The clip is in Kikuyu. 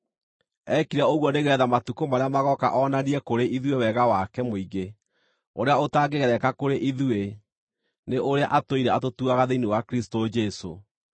Eekire ũguo nĩgeetha matukũ marĩa magooka onanie kũrĩ ithuĩ wega wake mũingĩ ũrĩa ũtangĩgereka kũrĩ ithuĩ, nĩ ũrĩa atũire atũtugaga thĩinĩ wa Kristũ Jesũ.